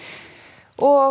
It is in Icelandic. og